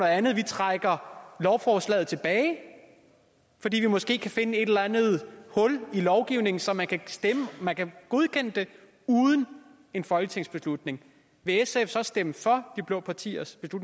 andet vi trækker lovforslaget tilbage fordi vi måske kan finde et eller andet hul i lovgivningen så man kan man kan godkende det uden en folketingsbeslutning vil sf så stemme for de blå partiers